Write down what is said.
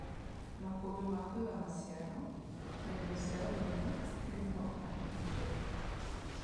makũmbĩ ma kũiga maciaro, na indo cia ũrĩmi citirĩ ho kana ti njega.